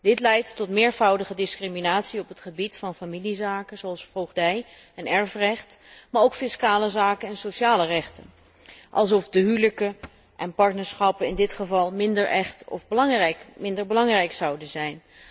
Dit leidt tot meervoudige discriminatie op het gebied van familiezaken zoals voogdij en erfrecht, maar ook fiscale zaken en sociale rechten, alsof de huwelijken en partnerschappen in dit geval minder echt of minder belangrijk zouden zijn.